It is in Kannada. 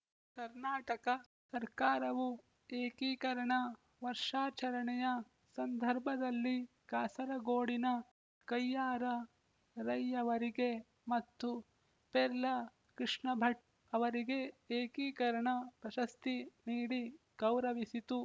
ಕರ್ನಾಟಕ ಸರ್ಕಾರವು ಏಕೀಕರಣ ವರ್ಷಾಚರಣೆಯ ಸಂದರ್ಭದಲ್ಲಿ ಕಾಸರಗೋಡಿನ ಕಯ್ಯಾರ ರೈಯವರಿಗೆ ಮತ್ತು ಪೆರ್ಲ ಕೃಷ್ಣಭಟ್ ಅವರಿಗೆ ಏಕೀಕರಣ ಪ್ರಶಸ್ತಿ ನೀಡಿ ಗೌರವಿಸಿತು